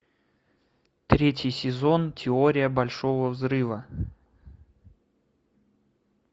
третий сезон теория большого взрыва